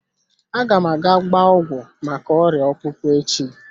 Aga m aga gbaa ọgwụ maka oria akpukpo echi.